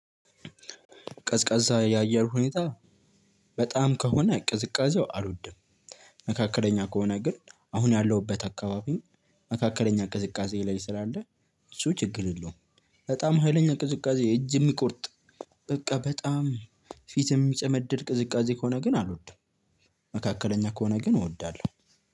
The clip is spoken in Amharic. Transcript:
ቀዝቃዛ የአየር ሁኔታ በጣም ከሆነ ቅዝቃዜው አልወድም። መካከለኛ ከሆነ ግን አሁን ያለሁበት አካባቢ መካከለኛ ቅዝቃዜ ላይ ስላለ፤ እሱ ችግር የለውም። በጣም ሀይለኛ ቅዝቃዜ እጅ የሚቆርጥ በቃ በጣም ፊትም ሚጨመድድ ቅዝቃዜ ከሆነ ግን አልወድም። መካከለኛ ከሆነ ግን እወዳለሁ።